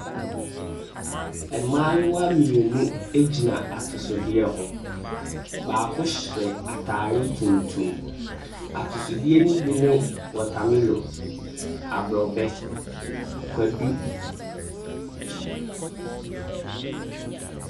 Mmayewa mmienu gyina atosodeɛ ho. Baako hyɛ atare tuntum. Atosodeɛ no bi ne, wɔtamelɔ, aborɔbɛ, kwadu.